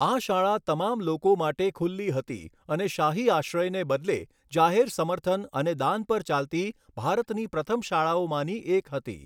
આ શાળા તમામ લોકો માટે ખુલ્લી હતી અને શાહી આશ્રયને બદલે જાહેર સમર્થન અને દાન પર ચાલતી ભારતની પ્રથમ શાળાઓમાંની એક હતી.